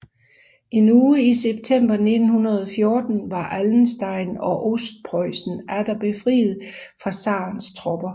En uge i september 1914 var Allenstein og Ostpreussen atter befriet fra zarens tropper